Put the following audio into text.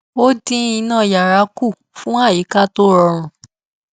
ó dín iná yàrá kù fún àyíká tó rọrùn